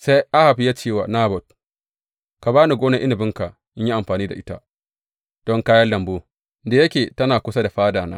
Sai Ahab ya ce wa Nabot, Ka ba ni gonar inabinka in yi amfani da ita don kayan lambu, da yake tana kusa da fadana.